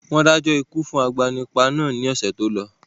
Wọn dájọ́ ikú fún agbanipa náà ni ọ̀sẹ̀ tó lọ